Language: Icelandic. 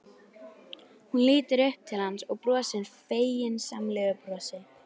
Hún lítur upp til hans og brosir feginsamlegu brosi.